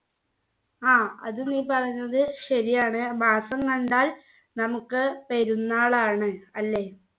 ആഹ് അത് നീ പറഞ്ഞത് ശരിയാണ് മാസം കണ്ടാൽ നമുക്ക് പെരുന്നാൾ ആണ് അല്ലേ